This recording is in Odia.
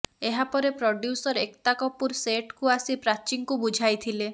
ଏହାପରେ ପ୍ରଡ୍ୟୁସର ଏକତା କପୁର ସେଟକୁ ଆସି ପ୍ରାଚୀଙ୍କୁ ବୁଝାଇଥିଲେ